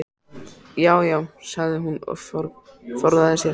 Já já, sagði hún og forðaði sér.